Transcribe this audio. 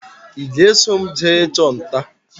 Ị ga-eso m jee ị chụ nta?